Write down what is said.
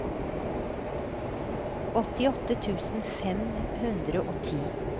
åttiåtte tusen fem hundre og ti